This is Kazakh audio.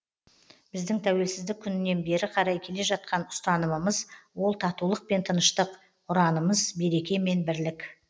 біздің тәуелсіздік күнінен бері қарай келе жатқан ұстанымымыз ол татулық пен тыныштық ұранымыз береке мен бірлік